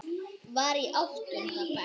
Var í áttunda bekk.